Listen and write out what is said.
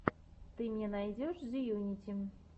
ты мне найдешь зеюнити